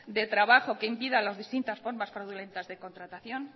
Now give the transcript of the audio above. de trabajo que impida a las distintas formas fraudulentas de contratación